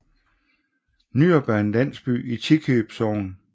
Nyrup er en landsby i Tikøb Sogn